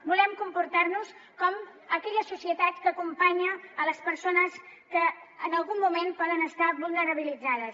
volem comportar nos com aquella societat que acompanya les persones que en algun moment poden estar vulnerabilitzades